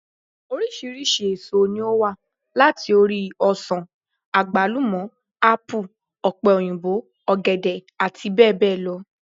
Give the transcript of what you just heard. Oríṣiríṣi èso ní ó wà láti ori: ọsàn, àgbálúmọ, ápù, ọ̀pẹ òyìnbó, ọ̀gẹ̀dẹ̀ àti bẹ́ẹ̀ bẹ́ẹ̀ lọ